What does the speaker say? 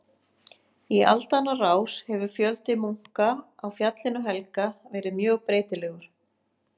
Í aldanna rás hefur fjöldi munka á Fjallinu helga verið mjög breytilegur.